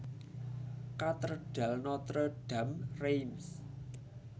Katedral Notre Dame Reims